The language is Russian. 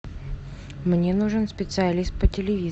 мне нужен специалист по